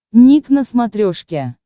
ник на смотрешке